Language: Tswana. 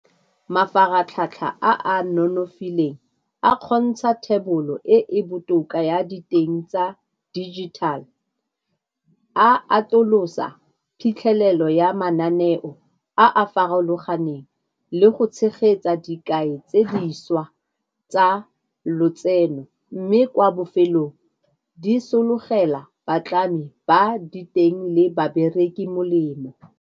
Mafaratlhatlha a a nonofileng a kgontsha thebolo e e botoka ya diteng tsa digital. A atolosa phitlhelelo ya mananeo a farologaneng le go tshegetsa dikai tse di šwa tsa lotseno, mme kwa bofelong di sologela batlami ba diteng le babereki molemo.